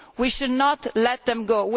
we should not let them go.